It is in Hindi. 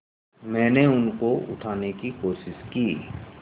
मैंने उनको उठाने की कोशिश की